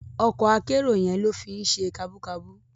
Òkò àkèéró yèn ló fi n sé kàbúkàbú